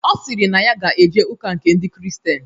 Ọ sịrị na ya ga-eje ụka nke ndị kristian